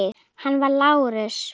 Hann var Lárus